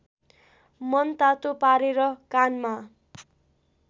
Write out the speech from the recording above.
मनतातो पारेर कानमा